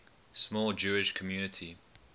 small jewish community